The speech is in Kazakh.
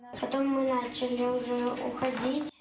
потом мы начали уже уходить